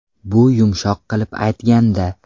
Bu yumshoq qilib aytganda.